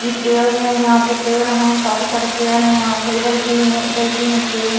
ये पेड़ है यहाँ पर पेड़ हैं काफी सारे पेड़ है यहाँ पर इधर भी है इधर भी है पेड़ --